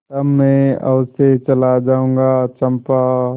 तब मैं अवश्य चला जाऊँगा चंपा